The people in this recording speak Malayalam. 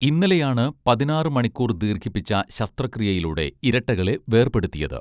ഇന്നലെയാണ് പതിനാറ് മണിക്കൂർ ദീർഘിപ്പിച്ച ശസ്ത്രക്രിയയിലൂടെ ഇരട്ടകളെ വേർപെടുത്തിയത്